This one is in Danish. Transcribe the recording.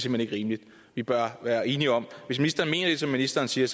hen ikke rimeligt vi bør være enige om hvis ministeren mener det som ministeren siger